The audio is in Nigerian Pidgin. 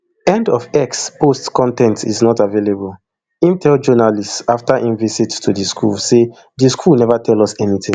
end of x post con ten t is not available im tell journalists afta im visit to di school say di school neva tell us anytin